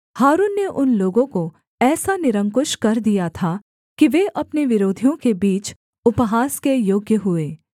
हारून ने उन लोगों को ऐसा निरंकुश कर दिया था कि वे अपने विरोधियों के बीच उपहास के योग्य हुए